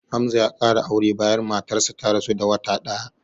Hamza ya ƙara aure bayan matarsa ta rasu da wata ɗaya